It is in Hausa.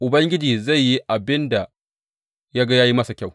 Ubangiji zai yi abin da ya ga ya yi masa kyau.